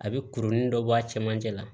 A bɛ kurunin dɔ bɔ a cɛmancɛ la